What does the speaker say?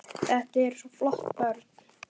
Þetta eru svo flott börn.